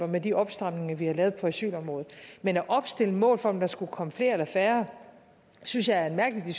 med de opstramninger vi har lavet på asylområdet men at opstille mål for at der skulle komme flere eller færre synes jeg er en mærkelig